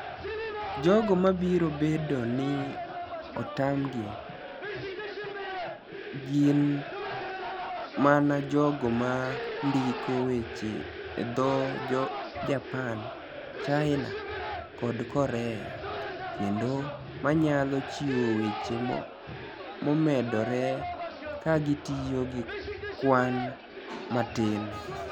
Jogo ma biro bedo nii otamgi, gini mania jogo ma nidiko weche e dho Japani, Chinia, kod Korea, kenido maniyalo chiwo weche momedore ka gitiyo gi kwani matini.